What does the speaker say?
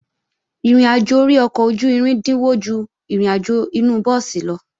Ìrìnàjò ori ọkọ̀ ojú-irin dínwó ju ìrìnàjò inu búùsì lọ